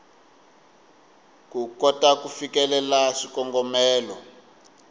ku kota ku fikelela swikongomelo